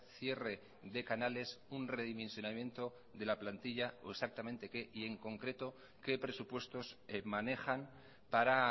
cierre de canales un redimensionamiento de la plantilla o exactamente qué y en concreto qué presupuestos manejan para